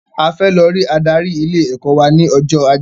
A fẹ lọ rí adarí ilé ẹ̀kọ́ wà ní ọjọ́ ajé